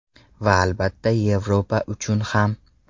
Va albatta, Yevropa uchun ham.